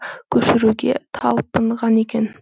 көшіруге талпынған екен